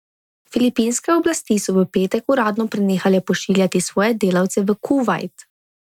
Filipinske oblasti so v petek uradno prenehale pošiljati svoje delavce v Kuvajt.